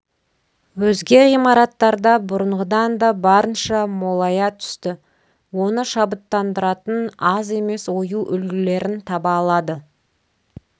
өзге ғимараттарда бұрынғыдан да барынша молая түсті оны шабыттандыратын аз емес ою үлгілерін таба алады